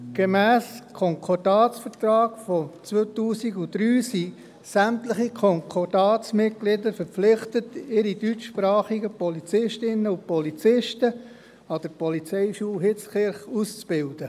Gemäss dem Konkordatsvertrag aus dem Jahr 2003 sind sämtliche Konkordatsmitglieder verpflichtet, ihre deutschsprachigen Polizistinnen und Polizisten an der IPH auszubilden.